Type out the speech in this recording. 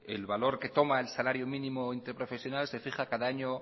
el valor que toma el salario mínimo interprofesional se fija cada año